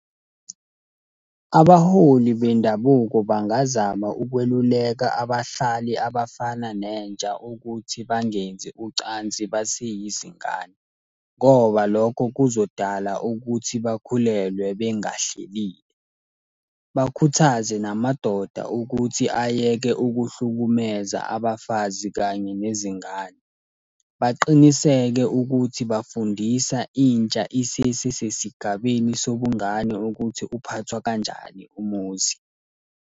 Abaholi bendabuko bangazama ukweluleka abahlali abafana nentsha ukuthi bangenzi ucansi baseyizingane, ngoba lokho kuzodala ukuthi bakhulelwe bengahlelile. Bakhuthaze namadoda ukuthi ayeke ukuhlukumeza abafazi kanye nezingane. Baqiniseke ukuthi bafundisa intsha isesesigabeni sobungane ukuthi uphathwa kanjani umuzi.